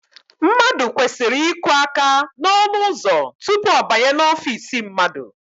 Mmadụ kwesịrị iku aka n'ọnụụzọ tupu ọ banye n'ofiisi mmadụ